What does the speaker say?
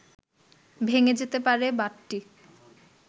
ভেঙে যেতে পারে বাঁটটি